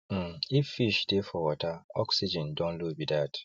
um if fish dey for wateroxygen don low be dat